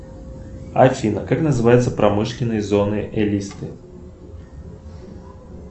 афина как называются промышленные зоны элисты